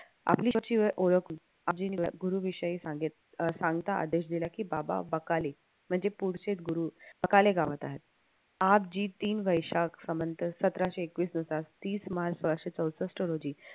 गुरुविषयी सांगितले आदेश दिला कि बाबा बकाले म्हणजे पुढचे गुरु बकाले गावात आहे. समांतर सतराशे एकवीस दिवसात तीस मार्च सहाशे चौसष्ट रोजी